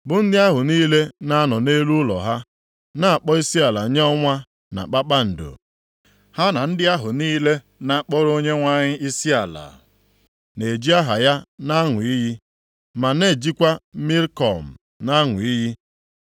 bụ ndị ahụ niile na-anọ nʼelu ụlọ ha na-akpọ isiala nye ọnwa na kpakpando, ha na ndị ahụ niile na-akpọrọ Onyenwe anyị isiala, na-eji aha ya nʼaṅụ iyi, ma na-ejikwa Milkọm + 1:5 Maọbụ, Molek na-aṅụ iyi,